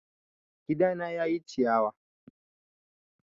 Gidana ya ƴi ciyawa